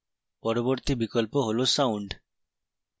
পরবর্তী বিকল্প হল sound